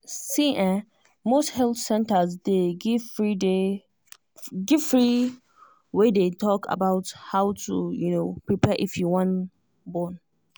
see ehnmost health centers day give free day give free way day talk about how to um prepare if you wan born.